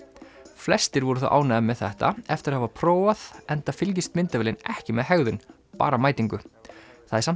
flestir voru þó ánægðir með þetta eftir að hafa prófað enda fylgist myndavélin ekki með hegðun bara mætingu það er samt